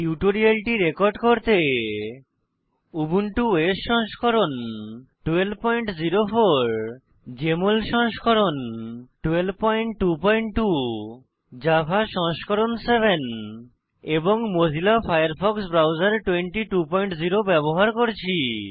টিউটোরিয়ালটি রেকর্ড করতে Ubuntu OS সংস্করণ 1204 জেএমএল সংস্করণ 1222 জাভা সংস্করণ 7 এবং মোজিলা ফায়ারফক্স ব্রাউজার 220 ব্যবহার করছি